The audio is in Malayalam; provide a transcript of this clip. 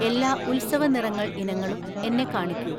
എല്ലാ ഉത്സവ നിറങ്ങൾ ഇനങ്ങളും എന്നെ കാണിക്കൂ